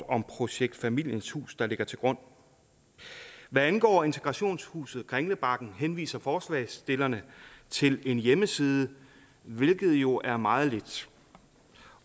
om projekt familiens hus der ligger til grund hvad angår integrationshuset kringlebakken henviser forslagsstillerne til en hjemmeside hvilket jo er meget lidt